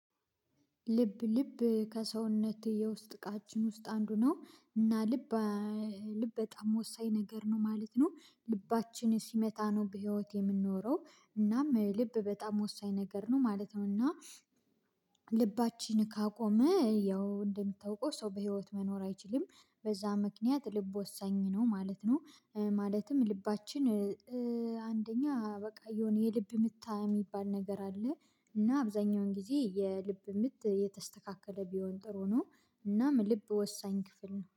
ልብ ልብ ከሰውነት የውስጥ እቃችን ውስጥ አንዱ ነው። እና ልብ ልብ በጣም ወሳኝ ነገር ነው ማለት ነው። ልባችን ሲመታ ነው በህይወት የምንኖረው። እናም ልብ በጣም ወሳኝ ነገር ነው ማለት ነው። እና ልባችን ካቆመ ያው እንደሚታውቀው ሰው በህይወት መኖር አይችልም። በዛ ምክንያት ልብ ወሳኝ ነው ማለት ነው። ማለትም ልባችን በቃ የሆነ የልብ ምት የሚባል ነገር አለ። እና አብዛኛውን ጊዜ የልብ ምት የተስተካከለ ቢሆን ጥሩ ነው። እናም ልብ ወሳኝ ክፍል ነው